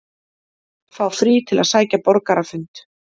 Fá frí til að sækja borgarafund